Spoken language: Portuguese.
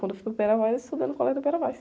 Quando eu fui para o, eu estudei no colégio do.